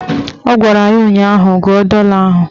Ọ gwara ya ụnyaahụ "Gụọ dọla ahụ"